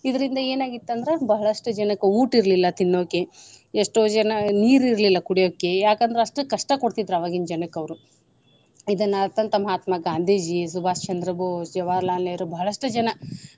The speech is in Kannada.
ಇದ್ರಿಂದ ಏನ ಆಗಿತ್ತ ಅಂದ್ರ ಬಹಳಷ್ಟು ಜನಕ್ಕ ಊಟ ಇರ್ಲಿಲ್ಲ ತಿನ್ನೋಕೆ, ಎಷ್ಟೋ ಜನಾ ನೀರ ಇರ್ಲಿಲ್ಲಾ ಕುಡಿಯೋಕೆ ಯಾಕ ಅಂದ್ರ ಅಷ್ಟ ಕಷ್ಟಾ ಕೊಡ್ತಿದ್ರ ಅವಾಗಿನ ಜನಕ್ಕ ಅವ್ರು. ಇದನ್ನ ಅರತಂತ ಮಹಾತ್ಮ ಗಾಂಧೀಜಿ, ಸುಭಾಸ ಚಂದ್ರ ಭೋಸ, ಜವಾಹರಲಾಲ ನೆಹರು ಬಹಳಷ್ಟು ಜನ.